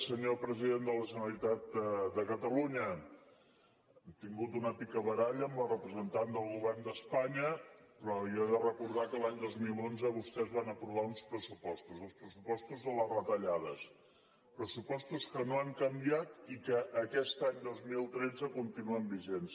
senyor president de la generalitat de catalunya ha tingut una picabaralla amb la representant del govern d’espanya però jo he de recordar que l’any dos mil onze vostès van aprovar uns pressupostos els pressupostos de les retallades pressupostos que no han canviat i que aquest any dos mil tretze continuen vigents